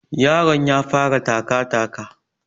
Yaron ya fara taka taka